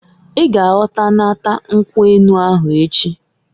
I ga egotanata nkwu enu ahụ echiǃ